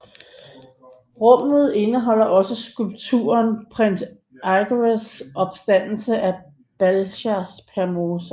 Rummet indeholder også skulpturen Prins Eugenes opstandelse af Balthasar Permoser